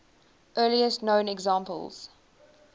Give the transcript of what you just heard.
earliest known examples